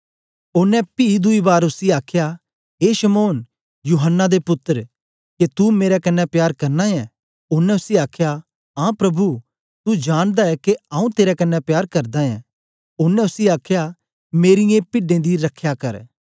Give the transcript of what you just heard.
ओनें पी दुई बार उसी आखया ए शमौन यूहत्रा दे पुत्तर के तू मेरे कन्ने प्यार करना ऐ ओनें उसी आखया आं प्रभु तू जानदा ऐं के आऊँ तेरे कन्ने प्यार करदा ऐं ओनें उसी आखया मेरीयें पिड्डें दी रख्या करे